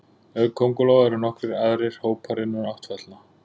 Auk köngulóa eru nokkrir aðrir hópar innan áttfætlna.